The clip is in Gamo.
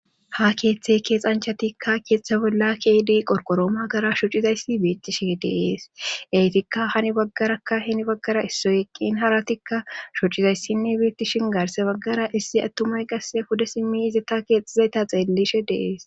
ha keeththe keexanchatikka keeththa bolla keedi qorqoroo magara shocizayssi beetishe dees eytikka hani baggarakka hini baggara issoyeqqin haratikka shocizayssinne biittishin gaarse baggara issi attumay qasse huda simmi izata keexxizayta xeellishe dees